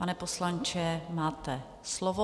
Pane poslanče, máte slovo.